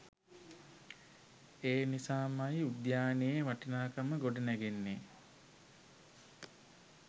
ඒ නිසාමයි උද්‍යානයේ වටිනාකම ගොඩනැගෙන්නේ